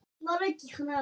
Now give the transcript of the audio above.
Skerið spínatið gróft.